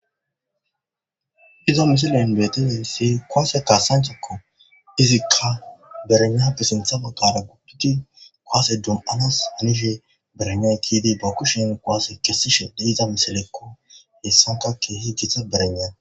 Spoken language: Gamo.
izo misilen beeteni si koase ka sanchakko izikka berena pessentha baggara guppiti koase dum7anas anishi berene kiidi ba kushin koase kessishe deiza misilekko hessankakke hijitha berena